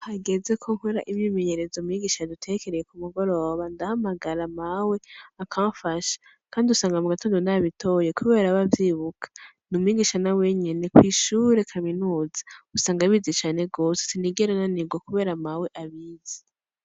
Hageze ko nkora imyimenyerezo mwigisha yadutekereye ku mugoroba, ndahamagara mawe akamfasha. Kandi usanga mu gatondo nabitoye kubera aba avyibuka. N'umwigisha nawe nyene kw'ishure Kaminuza. Usanga abizi cane gose ; sinigera nanirwa kubera mawe abizi.